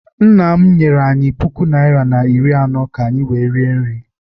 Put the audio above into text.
Nna m nyere anyị puku naịra na iri anọ ka anyị wee rie nri.